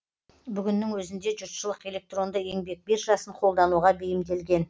бүгіннің өзінде жұртшылық электронды еңбек биржасын қолдануға бейімделген